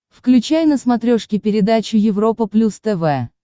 включай на смотрешке передачу европа плюс тв